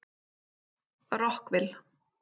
Rockville